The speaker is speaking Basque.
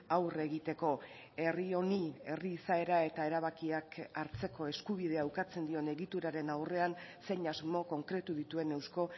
aurre egiteko herri honi herri izaera eta erabakiak hartzeko eskubidea ukatzen dion egituraren aurrean zein asmo konkretu dituen eusko